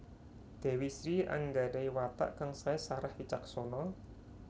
Dewi Sri anggadahi watak kang sae sareh wicaksana